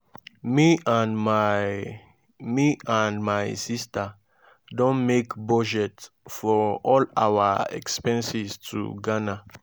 me and my me and my sister don make budget for all our expenses to ghana